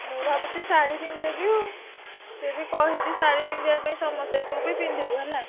ମୁଁ ଭାବୁଚି ଶାଢୀ ପିନ୍ଧି ଦେବି ଆଉ। ସେ ବି କହିଛି ଶାଢୀ ପିନ୍ଧିଆ ପାଇଁ ସମସ୍ତେ ତୁ ବି ପିନ୍ଧିବୁ ହେଲା?